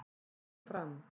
Um Fram: